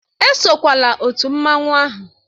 Esokwala otu mmanwụ ahụ!